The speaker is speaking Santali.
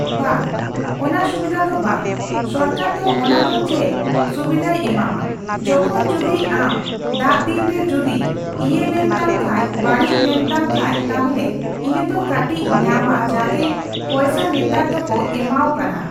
ᱵᱟᱝ, ᱚᱱᱟ ᱥᱩᱵᱤᱫᱟ ᱫᱚ ᱵᱟᱝ ᱥᱚᱨᱠᱟᱨ ᱫᱚ ᱚᱱᱟᱫᱚ ᱪᱮᱫ ᱥᱩᱵᱤᱫᱟᱭ ᱮᱢᱟᱢᱟ, ᱡᱚᱠᱷᱚᱱ ᱡᱩᱫᱤ ᱟᱢ ᱫᱟᱜᱫᱤᱱ ᱨᱮ ᱡᱩᱫᱤ ᱤᱭᱟᱹ ᱞᱮᱱᱛᱟᱢ ᱠᱷᱟᱡ, ᱵᱟᱲᱤᱪ ᱞᱮᱱᱛᱟᱢ ᱠᱷᱟᱡ ᱛᱟᱦᱞᱮ ᱤᱱᱟᱹ ᱫᱚ ᱠᱟᱴᱤᱪ ᱧᱟᱢᱟ ᱡᱟᱜᱮ, ᱯᱚᱭᱥᱟ ᱱᱮᱛᱟᱨ ᱫᱚᱠᱚ ᱮᱢᱟᱣ ᱠᱟᱱᱟ ᱾